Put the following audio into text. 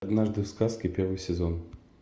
однажды в сказке первый сезон